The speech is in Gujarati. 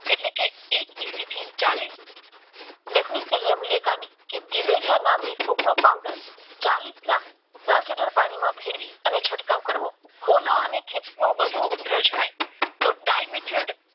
એટલે તે એક કિસી થી ચાલીસ રેખાની દિવેલીયાની નો પાવડર ચાલીસ ગ્રામ દસ લીટર પાણીમાં ભેળવીને છંટકાવ કરવો મૂળો અને વધુ જણાય તો ડાય